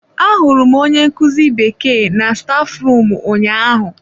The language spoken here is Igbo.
Ahụrụ m onye nkuzi bekee na staf rum ụnyaahụ.